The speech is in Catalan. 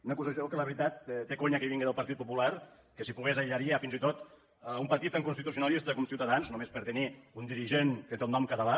una acusació que la veritat té conya que vingui del partit popular que si pogués aïllaria fins i tot un partit tan constitucionalista com ciutadans només per tenir un dirigent que té el nom català